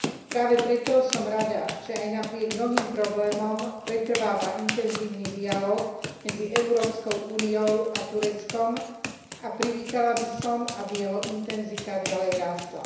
Práve preto som rada, že aj napriek mnohým problémom, pretrváva intenzívny dialóg medzi EÚ a Tureckom a privítala by som, aby jeho intenzita ďalej rástla.